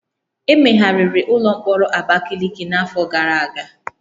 Emegharịrị ụlọ mkpọrọ Abakiliki n'afọ gara aga